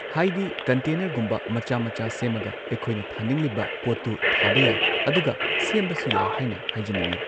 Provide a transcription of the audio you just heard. ꯍꯥꯏꯗꯤ ꯀꯟꯇꯦꯅꯔꯒꯨꯝꯕ ꯃꯆꯥ ꯃꯆꯥ ꯁꯦꯝꯃꯒ ꯑꯩꯈꯣꯏꯅ ꯊꯥꯅꯤꯡꯂꯤꯕ ꯄꯣꯠꯇꯨ ꯊꯥꯕ ꯌꯥꯏ ꯑꯗꯨꯒ ꯁꯦꯝꯕꯁꯨ ꯌꯥꯏ ꯍꯥꯏꯅ ꯍꯥꯏꯖꯅꯤꯡꯏ